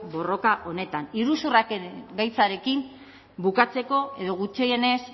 borroka honetan iruzurraren gaitzarekin bukatzeko edo gutxienez